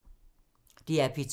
DR P2